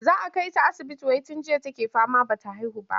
Za a kai ta asibiti wai tun jiya take fama ba ta haihu ba.